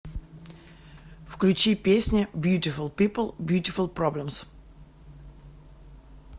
включи песня бьютифул пипл бьютифул проблемс